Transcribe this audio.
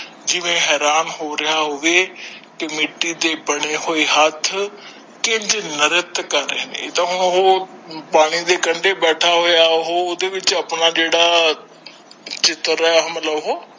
ਜਿਵੇਂ ਹੈਰਾਨ ਹੋ ਰਿਹਾ ਹੋਵੇ ਕਿ ਮਿਤੀ ਦੇ ਬੰਦੇ ਹੱਥ ਕਿਵੇਂ ਨ੍ਰਿਤ ਕਰ ਰਹੇ ਏਦਾਂ ਓਹੋ ਪਾਣੀ ਦੇ ਕੰਡੇ ਵਿਚ ਰਿਹਾ